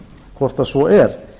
hvort svo er